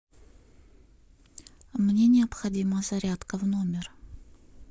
мне необходима зарядка в номер